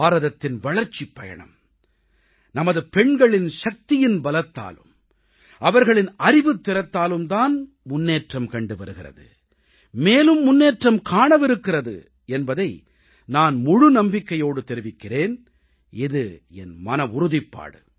பாரதத்தின் வளர்ச்சிப் பயணம் நமது பெண்கள் சக்தியின் பலத்தாலும் அவர்களின் அறிவுத்திறத்தாலும் தான் முன்னேற்றம் கண்டு வருகிறது மேலும் முன்னேற்றம் காணவிருக்கிறது என்பதை நான் முழு நம்பிக்கையோடு தெரிவிக்கிறேன் இது என் மனவுறுதிப்பாடு